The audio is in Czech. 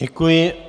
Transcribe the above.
Děkuji.